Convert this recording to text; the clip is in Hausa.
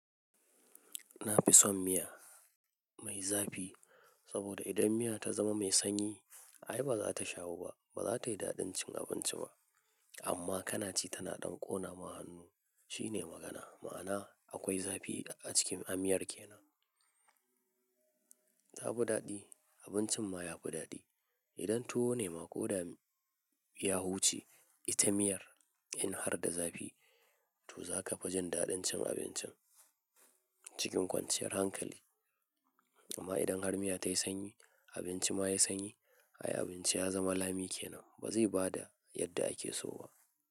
Na fi son miya mai zafi saboda idan miya ta zama mai sanyi, ai ba za ta shahu ba, ba za ta yi daɗin cin abinci ba. Amma kana ci tana ɗan ƙona mahannu shine magana. Ma'ana akwai zafi a cikin amiyar ke nan. Ta buɗaɗɗi abincin ma ya buɗaɗɗi. Idan toh nema ko dami ya huce, ita miyar in har da zafi, to za ka fi jin daɗin cin abincin cikin kwanciyar hankali. Amma idan har miya ta yi sanyi, abinci ma ya sanyi, ai abinci ya zama lami ke nan ba zai ba da yadda ake so ba.